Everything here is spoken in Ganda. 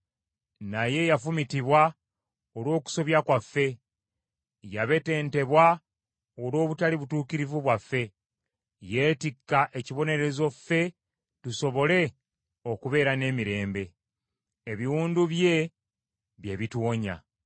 Naye yafumitibwa olw’okusobya kwaffe. Yabetentebwa olw’obutali butuukirivu bwaffe. Yeetikka ekibonerezo ffe tusobole okubeera n’emirembe. Ebiwundu bye, bye bituwonya.